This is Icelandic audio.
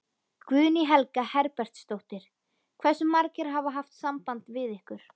Guðný Helga Herbertsdóttir: Hversu margir hafa haft samband við ykkur?